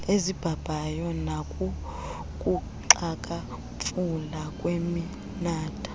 ezibhabhayo nakukuxhakamfula kweminatha